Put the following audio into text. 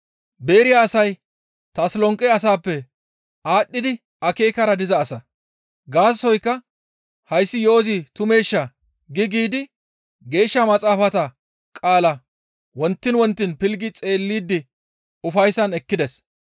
Beeriya asay Tasolonqe asaappe aadhdhidi akeekara diza asa. Gaasoykka hayssi yo7ozi tumeesha? gi giidi Geeshsha Maxaafata qaalaa wontiin wontiin pilggi xeellidi ufayssan ekkides.